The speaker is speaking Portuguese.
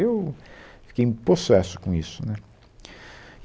Eu fiquei possesso com isso, né